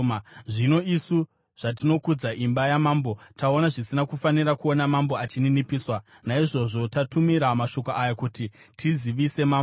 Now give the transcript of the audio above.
Zvino isu zvatinokudza imba yamambo, taona zvisina kufanira kuona mambo achininipiswa, naizvozvo tatumira mashoko aya kuti tizivise mambo,